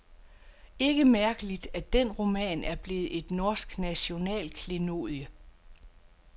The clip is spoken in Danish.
Ikke mærkeligt, at den roman er blevet et norsk nationalklenodie.